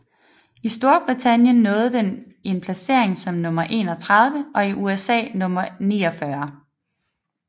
I Storbritannien nåede den en placering som nummer 31 og i USA nummer 49